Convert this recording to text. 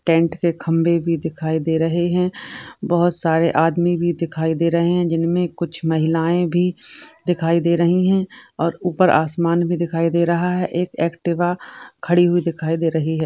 Tent के खम्बे भी दिखाई दे रहे है। बहुत सरे आदमी भी दिखाई दे रहे है जिनमे कुछ महिलाये भी दिखाई दे रही है और ऊपर आसमान भी दिखाई दे रहा है। एक एक्टिवा खड़ी हुई दिखाई दे रही है |